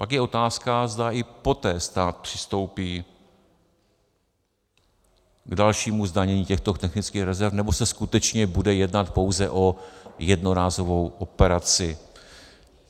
Pak je otázka, zda i poté stát přistoupí k dalšímu zdanění těchto technických rezerv, nebo se skutečně bude jednat pouze o jednorázovou operaci.